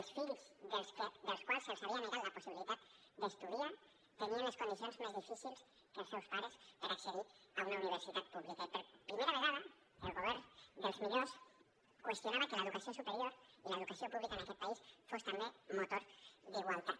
els fills d’aquells a qui se’ls havia negat la possibilitat d’estudiar tenien les condicions més difícils que els seus pares per accedir a una universitat pública i per primera vegada el govern dels millors qüestionava que l’educació superior i l’educació pública en aquest país fossin també motor d’igualtat